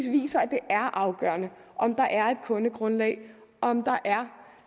viser at det er afgørende om der er et kundegrundlag om der